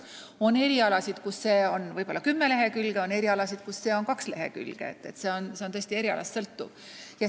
On erialasid, kus see on kümme lehekülge, on erialasid, kus see on kaks lehekülge – sõltub erialast.